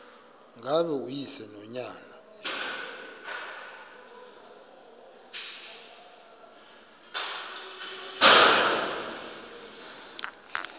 ngaba uyise nonyana